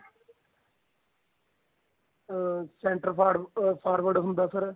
ਅਹ center far ah forward ਹੁੰਦਾ sir